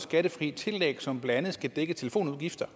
skattefrit tillæg som blandt andet skal dække telefonudgifter